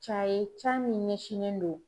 Ca ye ca min ɲɛsinnen do